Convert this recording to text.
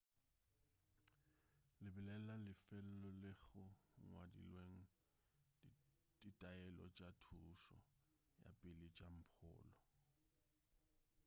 lebelela lefelo leo go ngwadilwego ditaelo tša thušo ya pele tša mpholo